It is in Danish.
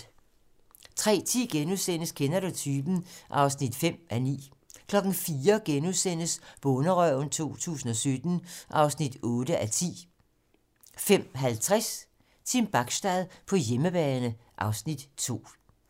03:10: Kender du typen? (5:9)* 04:00: Bonderøven 2017 (8:10)* 05:50: Team Bachstad på hjemmebane (Afs. 2)